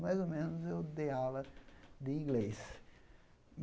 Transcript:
mais ou menos, eu dei aula de inglês.